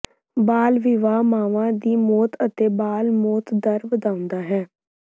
ਬਾਲ ਵਿਆਹ ਮਾਵਾਂ ਦੀ ਮੌਤ ਅਤੇ ਬਾਲ ਮੌਤ ਦਰ ਵਧਾਉਂਦਾ ਹੈ